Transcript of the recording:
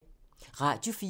Radio 4